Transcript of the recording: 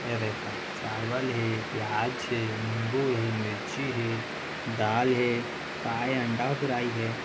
यह देखा चावल हे प्याज हे निम्बू हे मिर्ची हे दाल हे काय हे अंडा फ्राई हे।